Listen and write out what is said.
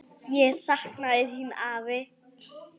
Ég sakna þín, afi.